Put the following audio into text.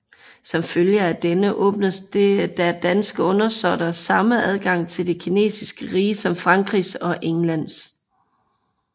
Som følge af denne åbnedes der danske undersåtter samme adgang til det kinesiske rige som Frankrigs og Englands